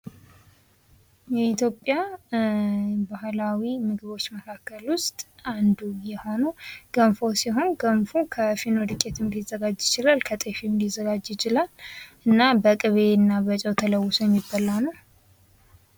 የኢትዮጵያ ባህላዊ ምግቦች መካከል ውስጥ አንዱ የሆነው ገንፎ ሲሆን ገንፎ ከፊርኖ ዶቄትም ሊዘጋጅ ይችላል ከጤፍም ሊዘጋጅ ይችላል እና በቅቤና በጨው ተለውሶ የሚበላ ነው።